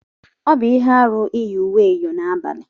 Ọ bụ ihe aru iyi uwe eyọ n'abalị.